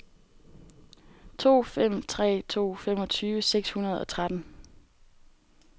to fem tre to femogtyve seks hundrede og tretten